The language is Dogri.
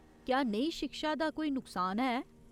क्या नेही शिक्षा दा कोई नुकसान है ?